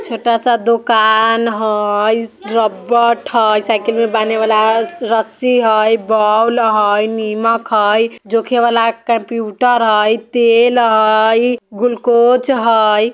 छोटा-सा दोकान हई रब्बट हय साइकिल में बांधे वला स रस्सी हय बोल हई निमक हई जोखे वाला कंप्यूटर हई तेल हई ग्लूकोज हई।